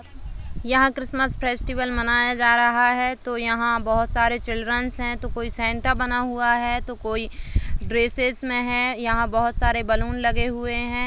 यहाँ Christmas festival मनाया जा रहा है तो यहाँ बहुत सारे चिल्ड्रंस है तो कोई सेंटा बना हुआ है तो कोई ड्रेसेस में है यहाँ बहुत सारे बलून लगे हुए हैं।